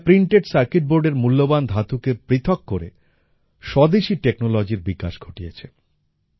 এরা printed circuit বোর্ডের মূল্যবান ধাতুকে পৃথক করে স্বদেশী টেকনোলজির বিকাশ ঘটিয়েছে